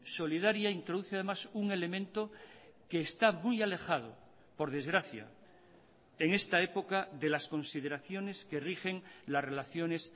solidaria introduce además un elemento que está muy alejado por desgracia en esta época de las consideraciones que rigen las relaciones